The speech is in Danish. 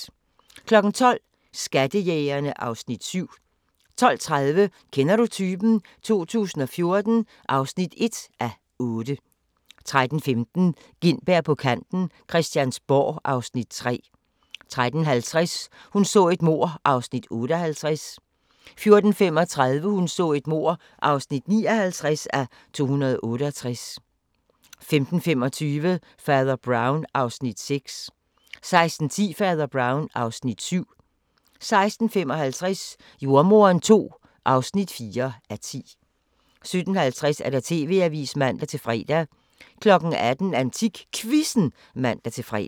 12:00: Skattejægerne (Afs. 7) 12:30: Kender du typen? 2014 (1:8) 13:15: Gintberg på kanten - Christiansborg (Afs. 3) 13:50: Hun så et mord (58:268) 14:35: Hun så et mord (59:268) 15:25: Fader Brown (Afs. 6) 16:10: Fader Brown (Afs. 7) 16:55: Jordemoderen II (4:10) 17:50: TV-avisen (man-fre) 18:00: AntikQuizzen (man-fre)